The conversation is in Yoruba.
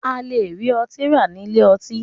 A lè rí ọtí rà nílé ọtí.